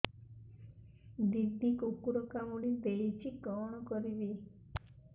ଦିଦି କୁକୁର କାମୁଡି ଦେଇଛି କଣ କରିବି